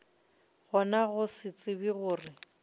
gona go se tsebe gore